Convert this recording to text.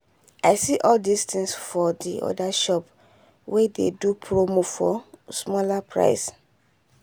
i see all these things for the other shop wey dey do promo for smaller price